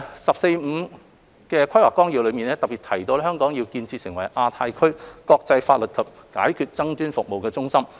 《十四五規劃綱要》特別提及香港要建設成為亞太區國際法律及解決爭議服務中心。